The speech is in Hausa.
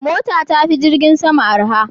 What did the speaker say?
Mota tafi jirgin sama arha.